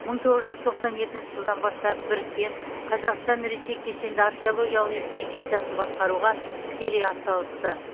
мың тоғыз жүз тоқсан екінші жылдан бастап біріккен казақстан ресей кешенді археологиялық экспедициясын басқаруға тікелей ат салысты